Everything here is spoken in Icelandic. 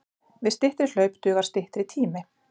Við styttri hlaup dugar styttri tími.